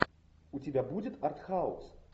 у тебя будет артхаус